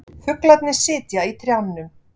Fuglarnir sitja í trjánum.